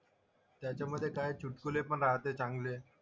त्याच्यामधे काय चुटकुले पण राहते चांगले.